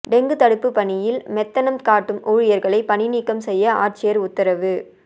dengue தடுப்பு பணியில் மெத்தனம் காட்டும் ஊழியா்களை பணிநீக்கம் செய்ய ஆட்சியா் உத்தரவு